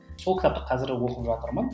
сол кітапты қазір оқып жатырмын